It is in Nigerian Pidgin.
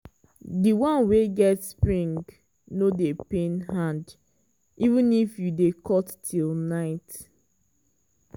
di one wey get spring no dey pain hand even if you dey cut till night.